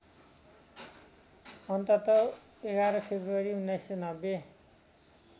अन्तत ११ फेब्रुअरी १९९०